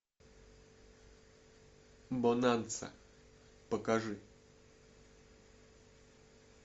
бонанза покажи